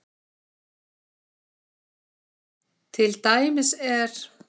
Til dæmis er